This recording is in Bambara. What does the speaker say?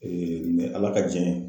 mɛ Ala ka jɛn ye